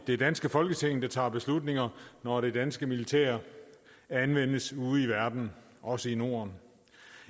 det danske folketing der tager beslutninger når det danske militær anvendes ude i verden også i norden